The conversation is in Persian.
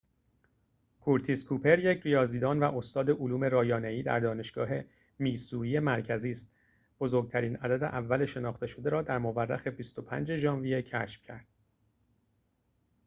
کورتیس کوپر یک ریاضیدان و استاد علوم رایانه‌ای در دانشگاه میسوری مرکزی است بزرگترین عدد اول شناخته شده را در مورخ ۲۵ ژانویه کشف کرد